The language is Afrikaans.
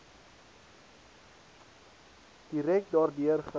direk daardeur geraak